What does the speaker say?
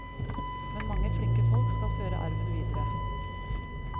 Men mange flinke folk skal føre arven videre.